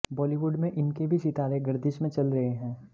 बॉलीवुड में इनके भी सितारे गर्दिश में चल रहे हैं